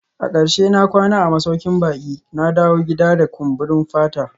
A karshe na kwana a masaukin baki, na dawo gida da kumburin fata